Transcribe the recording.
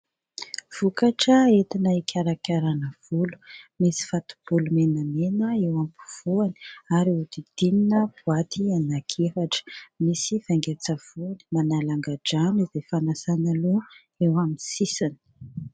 Vokatra entina hikarakarana volo misy fatobolo menamena eo ampivoany ary nodidinina boaty ananki-efatra misy vainga-tsavony manala angadrano izay fanasana loha eo amin'ny sisiny.